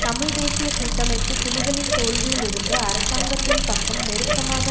தமிழ் தேசிய கூட்டமைப்பு புலிகளின் தோல்வியில் இருந்து அரசாங்கத்தின் பக்கம் நெருக்கமாக